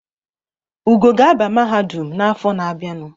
Ugo ga-aba mahadum n’afọ na-abịanụ